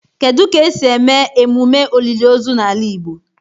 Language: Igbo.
Kedu ka esi eme emume olili ozu na ala igbo?